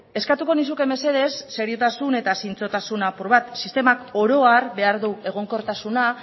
eskatuko nizuke mesedez seriotasun eta zintzotasun apur bat sistemak oro har behar du egonkortasuna